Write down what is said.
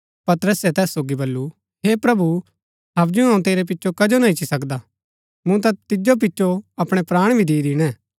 पतरसै तैस सोगी बल्लू हे प्रभु हबजु अऊँ तेरै पिचो कजो ना इच्ची सकदा मूँ ता तिजो पिचो अपणै प्राण भी दि दिणै